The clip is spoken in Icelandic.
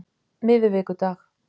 miðvikudag